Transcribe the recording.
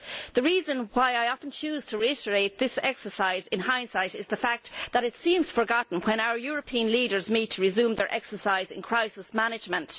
The reason why I often choose to reiterate this exercise of hindsight is the fact that it seems to be forgotten when our European leaders meet to resume their exercise in crisis management.